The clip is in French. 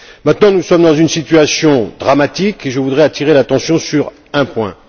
Maintenant, nous sommes dans une situation dramatique et je voudrais attirer l'attention sur un point.